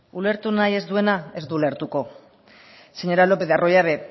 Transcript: ulertu nahi ez duenak ez du ulertuko señora lopez de arroyabe